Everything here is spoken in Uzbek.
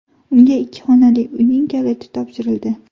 Unga ikki xonali uyning kaliti topshirildi.